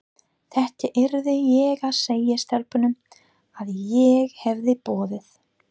Þetta yrði ég að segja stelpunum, að ég hefði boðið